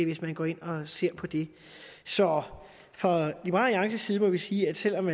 hvis man går ind og ser på det så fra liberal alliances side må vi sige at selv om